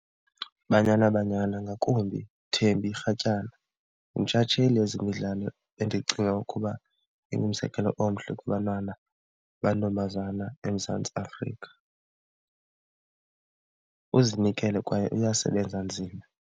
IBanyana Banyana, ngakumbi uThembi Rhatyana yintshatsheli yezemidlalo endicinga ukuba ingumzekelo omhle kubantwana amantombazana eMzantsi Afrika. Uzinikele kwaye uyasebenza nzima.